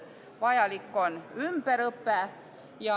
Vajalik on ümberõpe.